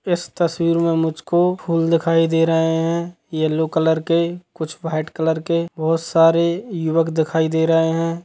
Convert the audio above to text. इस तस्वीर में मुझको फूल दिखाई दे रहे है यल्लो कलर के कुछ वाइट कलर के बहोत सारे युवक दिखाई दे रहे है।